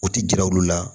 U ti jira olu la